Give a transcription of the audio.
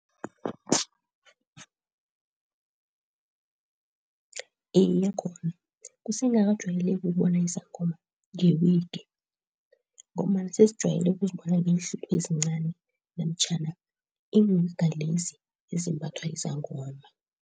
Iye, khona kusengakajwayeleki ukubona isangoma nge-wig ngombana sesijwayele ukuzibona ngeenhluthu ezincani namtjhana lezi ezimbathwa yizangoma.